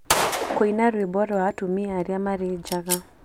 Kũina rwĩmbo rwa atumia arĩa marĩ njaga